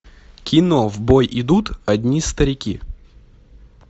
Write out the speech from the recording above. кино в бой идут одни старики